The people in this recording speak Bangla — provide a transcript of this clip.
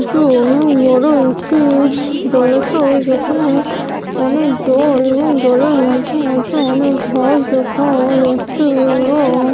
এটি অনু এরও একটি জলাসু যেখানে অনেক জল এবং জলে মধ্যে অনেক ঘর দেখা যাচ্ছেএবং-- ।